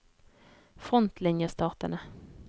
frontlinjestatene